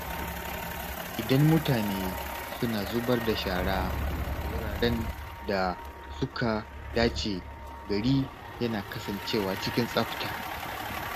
Idan mutane suna zubar da shara a wuraren da suka dace, gari yana kasancewa cikin tsafta.